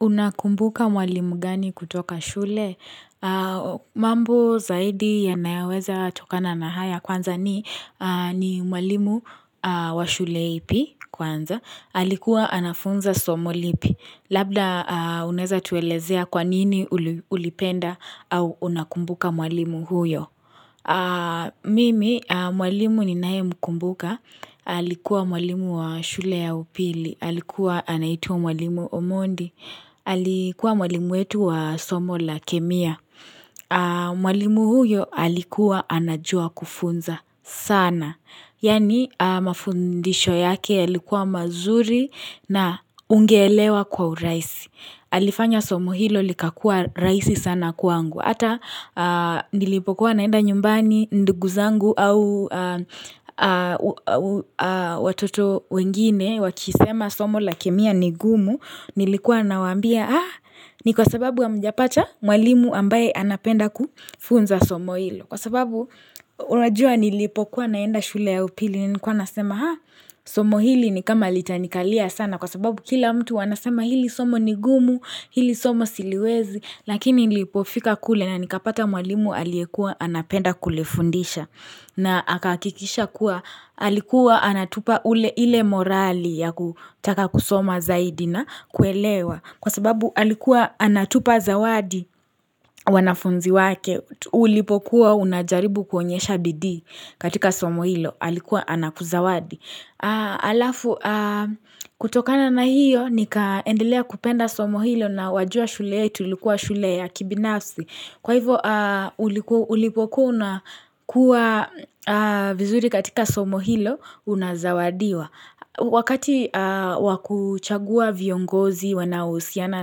Unakumbuka mwalimu gani kutoka shule? Mambo zaidi yanayoweza tokana na haya kwanza ni mwalimu wa shule ipi kwanza. Alikuwa anafunza somo lipi. Labda uneza tuelezea kwanini ulipenda au unakumbuka mwalimu huyo. Mimi mwalimu ninae mkumbuka. Alikuwa mwalimu wa shule ya upili. Alikuwa anaitwa mwalimu omondi. Alikuwa mwalimu wetu wa somo la kemia. Mwalimu huyo alikuwa anajua kufunza sana. Yani mafundisho yake yalikuwa mazuri na ungeelewa kwa uraisi. Alifanya somo hilo likakua raisi sana kwangu. Hata nilipokuwa naenda nyumbani ndugu zangu au watoto wengine wakisema somo la kemia ni gumu. Nilikuwa nawaambia haa ni kwa sababu hamjapata mwalimu ambaye anapenda kufunza somo hilo kwa sababu unajua nilipokuwa naenda shule ya upili nilikuwa nasema haa somo hili ni kama litanikalia sana kwa sababu kila mtu wanasema hili somo ni gumu hili somo siliwezi lakini nilipofika kule na nikapata mwalimu aliekua anapenda kulifundisha na akahakikisha kuwa alikuwa anatupa ule ile morali ya kutaka kusoma zaidi na kuelewa kwa sababu alikuwa anatupa zawadi wanafunzi wake ulipokuwa unajaribu kuonyesha bidii katika somo hilo alikuwa anakuzawadi. Alafu kutokana na hiyo nikaendelea kupenda somo hilo na wajua shule yetu ilikuwa shule ya kibinafsi Kwa hivo ulipokua una kua vizuri katika somo hilo unazawadiwa Wakati wakuchagua viongozi wanaohusiana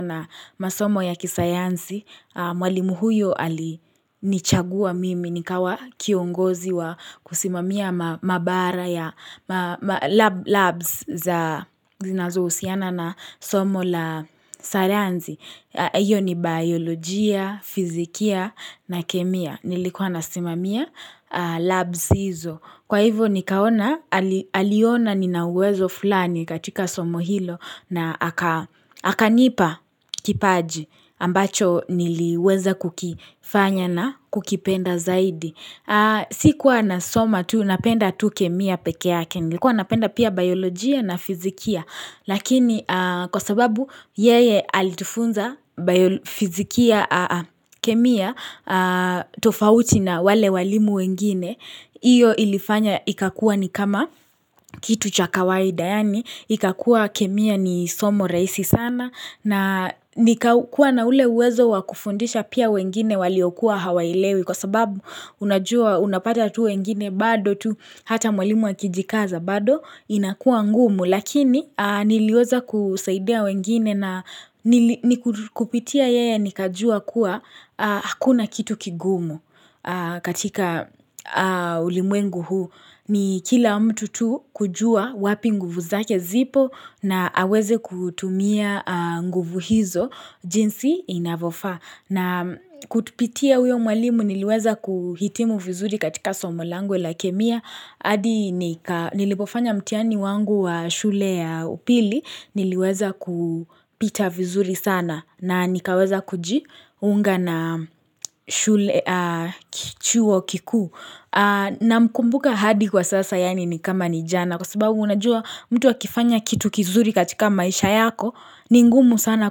na masomo ya kisayansi Mwalimu huyo alinichagua mimi nikawa kiongozi wa kusimamia mabara ya labs za zinazohusiana na somo la sayansi. Iyo ni biolojia, fizikia na kemia. Nilikuwa nasimamia labs hizo. Kwa hivo nikaona, aliona ninauwezo fulani katika somo hilo na akanipa kipaji. Ambacho niliweza kukifanya na kukipenda zaidi sikuwa nasoma tu napenda tu kemia pekeake Nikuwa napenda pia biolojia na fizikia Lakini kwa sababu yeye alitufunza fizikia kemia tofauti na wale walimu wengine Iyo ilifanya ikakua ni kama kitu cha kawaida yaani ikakua kemia ni somo rahisi sana na nikakuwa na ule uwezo wa kufundisha pia wengine waliokuwa hawaelewi kwa sababu unapata tu wengine bado tu hata mwalimu akijikaza bado inakua ngumu lakini niliweza kusaidia wengine na kupitia yeye nikajua kuwa hakuna kitu kigumu katika ulimwengu huu. Ni kila mtu tu kujua wapi nguvu zake zipo na aweze kutumia nguvu hizo jinsi inavyofaa. Na kutupitia uyo mwalimu niliweza kuhitimu vizuri katika somo langu la kemia. Adi nilipofanya mtihani wangu wa shule ya upili niliweza kupita vizuri sana na nikaweza kujiunga na shule kichuo kikuu. Namkumbuka hadi kwa sasa yaani ni kama ni jana kwa sababu unajua mtu akifanya kitu kizuri katika maisha yako ni ngumu sana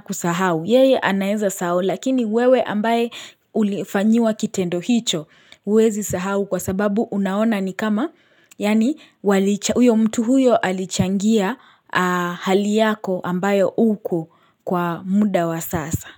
kusahau. Yeye anaeza sahau lakini wewe ambaye ulifanyiwa kitendo hicho huwezi sahau kwa sababu unaona ni kama yaani uyo mtu huyo alichangia hali yako ambayo uku kwa muda wa sasa.